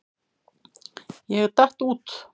Ég datt út.